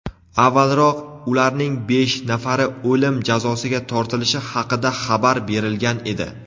Avvalroq ularning besh nafari o‘lim jazosiga tortilishi haqida xabar berilgan edi.